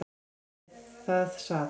Þar við sat